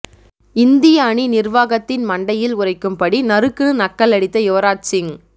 இந்திய அணி நிர்வாகத்தின் மண்டையில் உரைக்கும்படி நறுக்குனு நக்கலடித்த யுவராஜ் சிங்